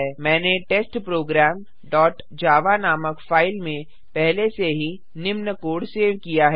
मैंने test program dot Java नामक file में पहले से ही निम्न कोड सेव किया है